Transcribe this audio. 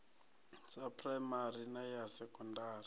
ya phuraimari na ya sekondari